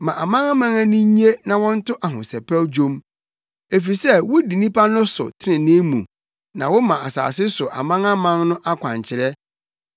Ma amanaman ani nnye na wɔnto ahosɛpɛw dwom, efisɛ wudi nnipa no so trenee mu na woma asase so amanaman no akwankyerɛ.